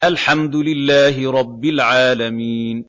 الْحَمْدُ لِلَّهِ رَبِّ الْعَالَمِينَ